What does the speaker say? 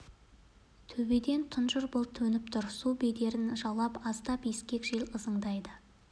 төбеден тұнжыр бұлт төніп тұр су бедерін жалап аздап ескек жел ызыңдайды